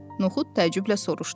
Noxud təəccüblə soruşdu.